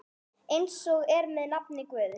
Eins er með nafn Guðs.